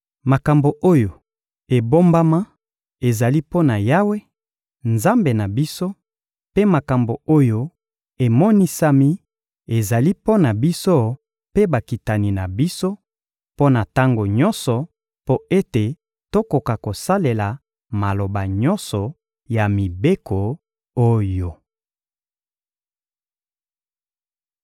Makambo oyo ebombama ezali mpo na Yawe, Nzambe na biso; mpe makambo oyo emonisami ezali mpo na biso mpe bakitani na biso, mpo na tango nyonso, mpo ete tokoka kosalela maloba nyonso ya mibeko oyo.»